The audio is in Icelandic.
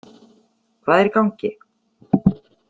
Hvað er í gangi?